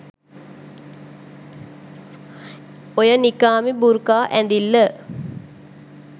ඔය නිකාබ් බුර්කා ඇඳිල්ල